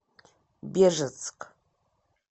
бежецк